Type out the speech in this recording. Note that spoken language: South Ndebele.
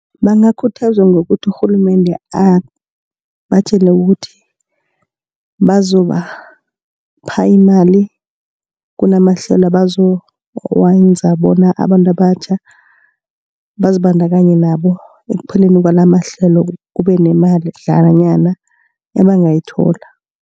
Bangakhuthazwa ngokuthi urhulumende abatjele ukuthi bazobapha imali. Kunamahlelo abazowenza bona abantu abatjha bazibandakanye nabo. Ekupheleni kwalamahlelo kube nemadlana nanyana abangayithola.